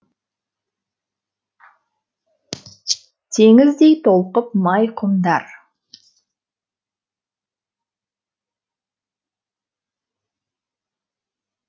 теңіздей толқып май құмдар